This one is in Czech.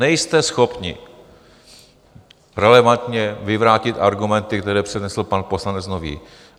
Nejste schopni relevantně vyvrátit argumenty, které přednesl pan poslanec Nový.